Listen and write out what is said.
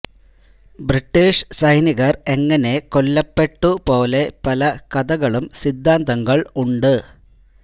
British സൈനികർ എങ്ങനെ കൊല്ലപ്പെട്ടു പോലെ പല കഥകളും സിദ്ധാന്തങ്ങൾ ഉണ്ട്